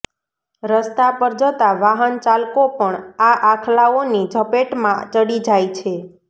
રસ્તા પર જતા વાહન ચાલકો પણ આ આખલાઓની ઝપેટમાં ચડી જાય છે